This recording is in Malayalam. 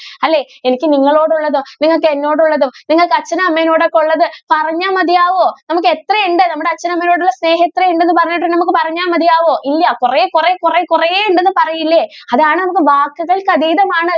അല്ലെ എനിക്ക് നിങ്ങളോട് ഉള്ളതോ നിങ്ങൾക്ക് എന്നോടുള്ളതോ നിങ്ങൾക്ക് അച്ഛനോടും അമ്മയോടും ഒക്കെ ഉള്ളത് പറഞ്ഞാൽ മതിയാകുമോ നമുക്ക് എത്ര ഉണ്ട് നമുക്ക് അച്ഛനോടും അമ്മയയോടും ഉള്ള സ്നേഹം എത്ര ഉണ്ടെന്ന് പറഞ്ഞിട്ട് നമ്മൾക്ക് പറഞ്ഞാൽ മതിയാകുമോ ഇല്ലാ കൊറേ കൊറേ കൊറേ കൊറേ ഉണ്ടെന്നൊക്കെ പറയില്ലേ അതാണ് വാക്കുകൾക്ക് അതീതം ആണ്.